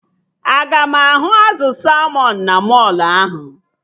Aga m ahụ azụ salmọn na mọlụ ahụ?